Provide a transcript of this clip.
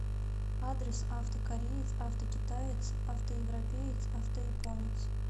адрес авто кореец авто китаец авто европеец авто японец